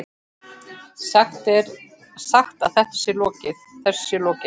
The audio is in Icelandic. Sagt að þessu sé lokið.